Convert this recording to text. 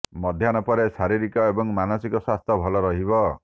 ମଧ୍ୟାହ୍ନ ପରେ ଶାରୀରିକ ଏବଂ ମାନସିକ ସ୍ୱାସ୍ଥ୍ୟ ଭଲ ରହିବ